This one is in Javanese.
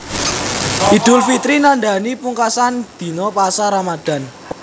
Idul Fitri nandhani pungkasan dina pasa Ramadhan